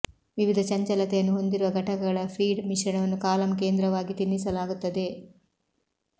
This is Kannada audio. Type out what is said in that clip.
ವಿವಿಧ ಚಂಚಲತೆಯನ್ನು ಹೊಂದಿರುವ ಘಟಕಗಳ ಫೀಡ್ ಮಿಶ್ರಣವನ್ನು ಕಾಲಮ್ ಕೇಂದ್ರವಾಗಿ ತಿನ್ನಿಸಲಾಗುತ್ತದೆ